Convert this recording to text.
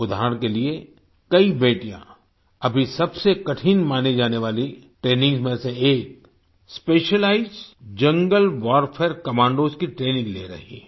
उदाहरण के लिए कई बेटियां अभी सबसे कठिन मानी जाने वाली ट्रेनिंग्स में से एक स्पेशलाइज्ड जंगल वारफेयर कमांडोस की ट्रेनिंग ले रही हैं